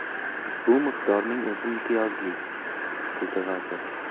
Bu miqdorning o‘zi imtiyozli”, dedi vazir.